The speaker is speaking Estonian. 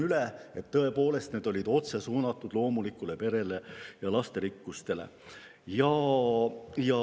Tõepoolest, need kampaaniad olid otse suunatud loomuliku pere ja lasterikkuse.